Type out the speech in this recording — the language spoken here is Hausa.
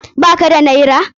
Ba ka da naira?